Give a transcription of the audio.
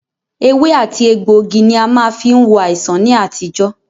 Ewé àti egbògi ní a má fí ń wo àìsàn ní àtijọ́.